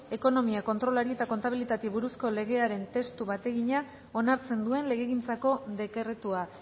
ekonomia kontrolari eta kontabilitateari buruzko legearen testu bategina onartzen duen legegintzako dekretua